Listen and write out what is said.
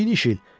"İniş il.